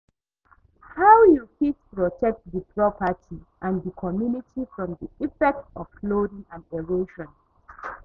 how you fit protect di property and di communitty from di effects of flooding and erosion?